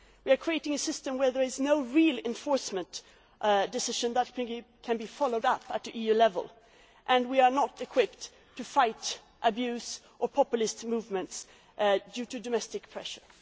we are creating a system where there is no real enforcement decision that can be followed up at EU level and it does not equip us to fight abuse or populist movements arising from domestic pressure.